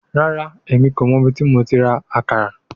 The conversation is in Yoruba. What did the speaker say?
Rara, Emi ko mọ ibiti mo ti ra akara